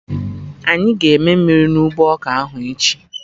Anyị ga-eme mmiri na ụgbọ ọka ahụ echi